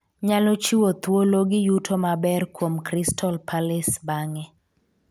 nyalo chiwo thuolo gi yuto maber kuom Crystal Palace bang'e